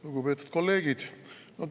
Lugupeetud kolleegid!